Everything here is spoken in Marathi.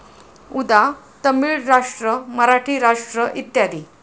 उदा.तमिळ राष्ट्र, मराठी राष्ट्र इत्यादी.